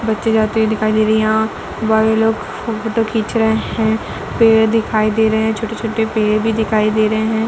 बच्चे जाते हुए दिखाई दे रहीं यहाँ बड़े लोग फोटो खीच रहे हैं पेड़ दिखाई दे रहे हैं छोटे-छोटे पेड़ भी दिखाई दे रहे हैं।